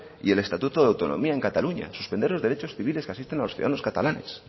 y el estatuto de autonomía en cataluña suspender los derechos civiles que asisten a los ciudadanos catalanes